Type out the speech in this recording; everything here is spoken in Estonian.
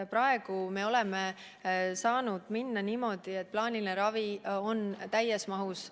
Praegu me oleme saanud edasi minna niimoodi, et plaaniline ravi on täies mahus alles.